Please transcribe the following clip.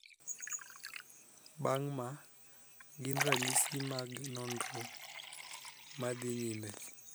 Bang' ma gin ranyisi mag nonro madhi nyime.